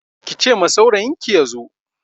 Ki ce ma saurayinki ya zo!